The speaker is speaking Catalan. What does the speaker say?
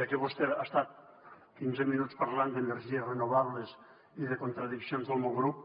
ja que vostè ha estat quinze minuts parlant d’energies renovables i de contradiccions del meu grup